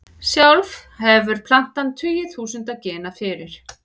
Sjálf hefur plantan tugi þúsunda gena fyrir.